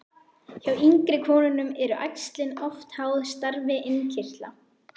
Hjá yngri konum eru æxlin oft háð starfi innkirtla.